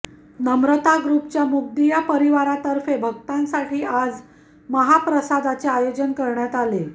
नम्रता ग्रुपच्या मुगदिया परिवारातर्फे भक्तांसाठी आज महाप्रसादाचे आयोजन करण्यात आले